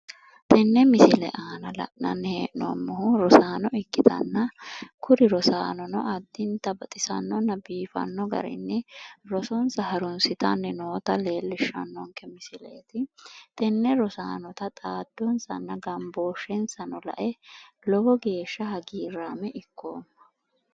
Tenne misile aana la'nanni hee'noommohu rosaano ikkitanna kuri rosaanono addintanni baxisannonna biifanno garinni rosonsa harunsitanni noota leellishshannonke misileeti. Tenne rosaano xa xaadonsanna gambooshshensano lae lowo geeshsha hagiirraame ikkoomma.